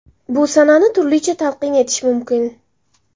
Bu sanani turlicha talqin etish mumkin!